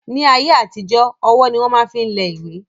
Ní àtijọ́ ọwọ́ ni wọ́n máa ń fi lẹ ìwé